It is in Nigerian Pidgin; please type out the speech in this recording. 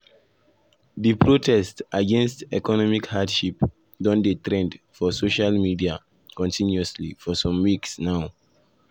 di protest against economic hardship don dey trend for social media continuously for some weeks now. now.